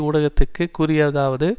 ஊடகத்திற்குக் கூறியதாவது